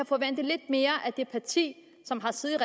forvente lidt mere af det parti som har siddet